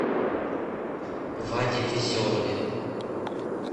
ваде веселове